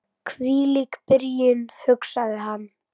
Hvílík byrjun, hugsaði hann.